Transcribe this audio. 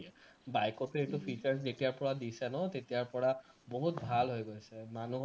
bike তে এইটো features যেতিয়াৰ পৰা দিছে ন তেতিয়াৰ পৰা বহুত ভাল হৈ গৈছে মানুহৰ